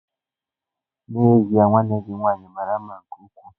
N'ezie nwanne gị nwanyị mara mma nke ukwuu.